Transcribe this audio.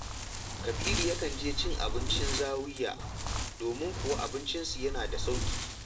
Kabiru yakan je cin abinci Zawiya domin kuwa abincinsu yana da sauƙi